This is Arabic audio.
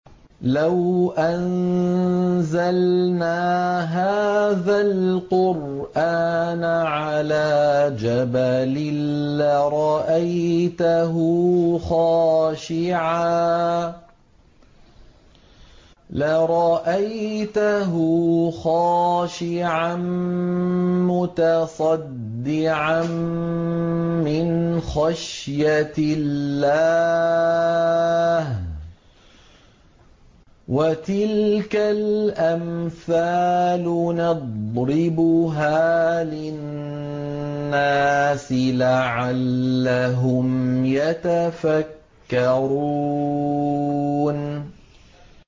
لَوْ أَنزَلْنَا هَٰذَا الْقُرْآنَ عَلَىٰ جَبَلٍ لَّرَأَيْتَهُ خَاشِعًا مُّتَصَدِّعًا مِّنْ خَشْيَةِ اللَّهِ ۚ وَتِلْكَ الْأَمْثَالُ نَضْرِبُهَا لِلنَّاسِ لَعَلَّهُمْ يَتَفَكَّرُونَ